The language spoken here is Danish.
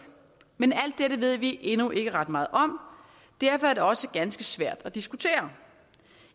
men alt dette ved vi endnu ikke ret meget om og derfor er det også ganske svært at diskutere